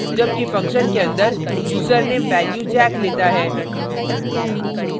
जबकि function के अंदर यूज़रनेम value jack लेता है